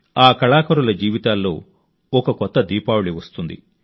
ఆ కళాకారుల జీవితాల్లో ఒక కొత్త దీపావళి వస్తుంది